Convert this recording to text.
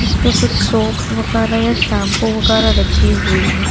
इसमें कुछ सोप वगेरा या शैंपू वगारावगेरा रखी हुई है।